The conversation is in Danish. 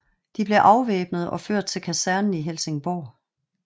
De blev afvæbnet og ført til kasernen i Helsingborg